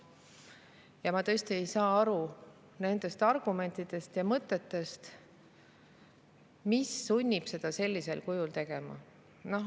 Ja ma tõesti ei saa aru nendest argumentidest ja mõtetest, mis sunnib seda sellisel kujul tegema.